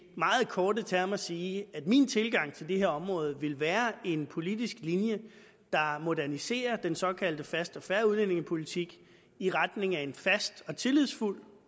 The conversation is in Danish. meget korte termer sige at min tilgang til det her område vil være en politisk linje der moderniserer den såkaldt faste og fair udlændingepolitik i retning af en fast og tillidsfuld